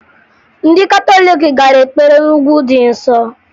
Ndị katọliiki gara ekpere na Ugwu dị Nsọ